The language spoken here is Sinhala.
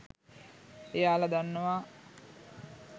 එයාල දන්නවා